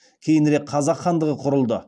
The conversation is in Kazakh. кейінірек қазақ хандығы құрылды